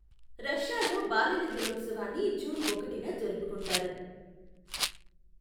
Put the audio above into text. రష్యాలో బాలల దినోత్సవాన్ని జూన్ ఒకటిన జరుపుకుంటారు.